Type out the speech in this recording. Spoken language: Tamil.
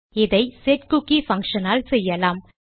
இதை செட்குக்கி பங்ஷன் ஆல் செய்யலாம்